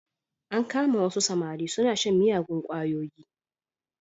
An kama wasu samari suna shan miyagun ƙwayoyi.